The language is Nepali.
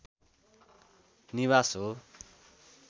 निवास हो